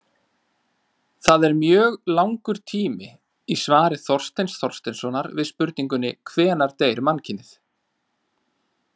Það er mjög langur tími í svari Þorsteins Þorsteinssonar við spurningunni Hvenær deyr mannkynið?